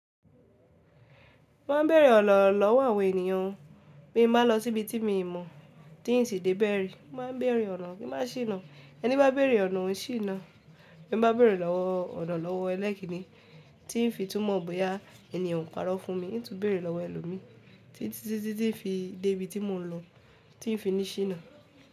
Mo ma n bẹ̀rẹ̀ ọ̀na lọ́wọ́ àwọn ènìyàn o, bí n bá lọ síbi tí mo ò mọ̀, tí n sì dé bẹ̀rẹ̀, mo ma n bẹ̀rẹ̀ ọ̀nà kí n ma ṣìnà. Ẹni bá bẹ̀rẹ̀ ọ̀nà, òn ṣìná. Bí n bá bẹ̀rẹ̀ lowo ọ̀nà lọ́wọ́ ẹlẹ́kìnní tí n fi túmọ̀ bóyá ènìyen o parọ́ fún mi, n tun bẹ̀rẹ̀ lọ́wọ́ ẹlòmíì, tí ti titi n fi dé bi tí mò ń lọ, tí n fi ni ṣìná.